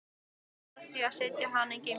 Ég varð því að setja hana í geymslu.